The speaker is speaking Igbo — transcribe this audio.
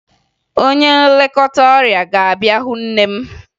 Onye nlekọta ọrịa ga-abịa hụ nne nne m